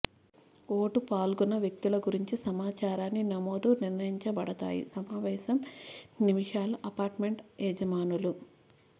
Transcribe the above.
vote పాల్గొన్న వ్యక్తులు గురించి సమాచారాన్ని నమోదు నిర్ణయించబడతాయి సమావేశం నిమిషాల అపార్ట్మెంట్ యజమానులు